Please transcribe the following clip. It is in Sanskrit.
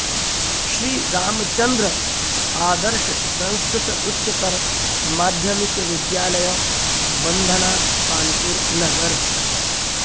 श्री रामचन्द्र आदर्श संस्कृत उच्चतर माध्यमिक विद्यालय बन्धना कानपुर नगर